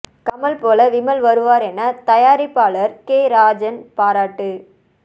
கமல் போல விமல் வருவார் என தயாரிப்பாளர் கே ராஜன் பாராட்டு